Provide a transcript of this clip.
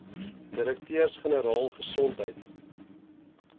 direkteurs generaal gesondheid